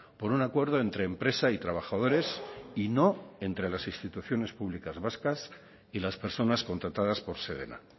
por un acuerdo entre empresa y trabajadores y no entre las instituciones públicas vascas y las personas contratadas por sedena